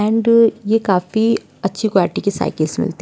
And ये काफी अच्छी क्वालिटी की साइकिलस मिलती है।